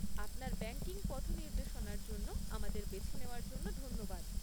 আপনার ব্যাঙ্কিং পথনির্দেশনার জন্য আমাদের বেছে নেওয়ার জন্য ধন্যবাদ।